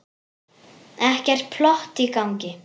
Ekkert plott í gangi.